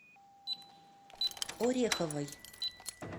ореховой